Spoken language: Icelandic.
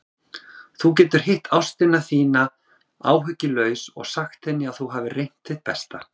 Þú getur hitt ástina þína áhyggjulaus og sagt henni að þú hafir reynt þitt besta.